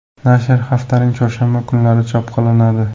Nashr haftaning chorshanba kunlari chop qilinadi.